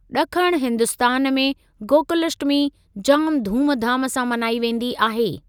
ॾखण हिंदुस्‍तान में गोकुलष्टमी जाम धूमधाम सां मनाई वेंदी आहे।